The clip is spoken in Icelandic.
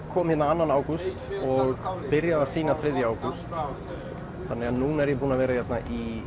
kom hingað annað ágúst og byrjaði að sýna þriðja ágúst þannig að nú er ég búinn að vera hérna í